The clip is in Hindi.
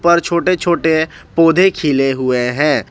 और छोटे छोटे पौधे खिले हुए हैं।